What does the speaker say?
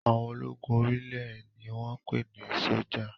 Àwọn ológun orí ilẹ̀ ni wọ́n ń pè ní sọ́jà